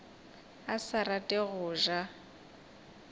a sa rate go ja